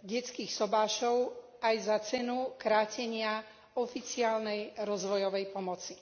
detských sobášov aj za cenu krátenia oficiálnej rozvojovej pomoci.